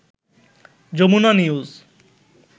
Jamuna news